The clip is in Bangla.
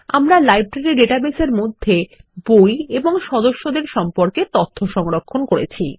আমরা লাইব্রেরী ডাটাবেসের মধ্যে বই এবং সদস্যদের সম্পর্কে তথ্য সংরক্ষণ করেছি